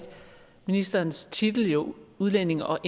ministerens titel jo udlændinge og